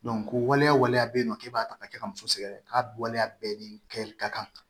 ko waleya waleya bɛ yen nɔ k'e b'a ta ka kɛ ka muso sɛgɛrɛ k'a bɛ waleya bɛɛ ni kɛ ka kan